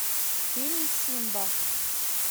фильм симба